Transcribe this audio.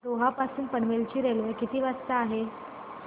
रोहा पासून पनवेल ची रेल्वे किती वाजता आहे